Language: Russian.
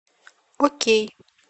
окей